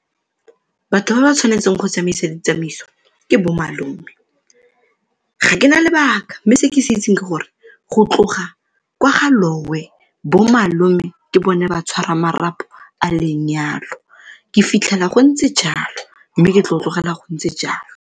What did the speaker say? Batho ba ba tshwanetseng go tsamaisa ditsamaiso ke bomalome. Ga ke na lebaka mme se ke se itseng ke gore go tloga kwa ga lowe bomalome ke bone batshwarang marapo a lenyalo, ke fitlhela gontse jalo mme ke tlo tlogela go ntse jalo.